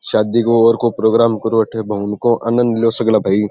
शादी को और को प्रोगाम करो एठे भवन को आनद लो सग़ला भाई।